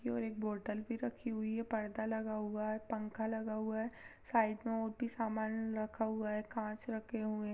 और एक बोटल भी रखी हुई है पर्दा लगा हुआ है पंखा लगा हुआ है साइड में और भी सामान रखा हुआ है कांच रखे हुए हैं।